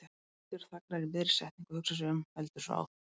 Hildur þagnar í miðri setningu og hugsar sig um, heldur svo áfram